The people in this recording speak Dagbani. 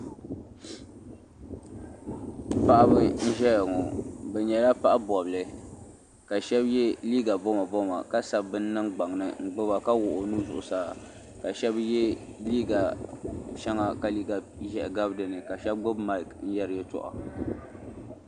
paɣaba n-ʒeya ŋɔ bɛ nyɛla paɣ' bɔbili ka shɛba ye liiga bomaboma ka sabi bini niŋ gbaŋ ni n-gbuba ka wuɣi o nuhi zuɣusaa ka shɛba ye liiga shɛŋa ka ʒɛhi gabi din ni ka shɛba gbubi Maaki n-yɛri yɛltɔɣa.